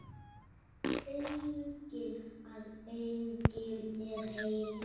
Feginn að enginn er heima.